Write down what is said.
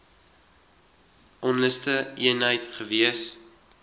onluste eenheid gewees